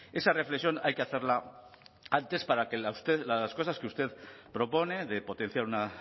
esa reflexión hay que hacerla antes para que las cosas que usted propone de potenciar una